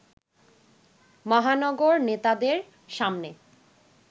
মহানগর নেতাদের সামনে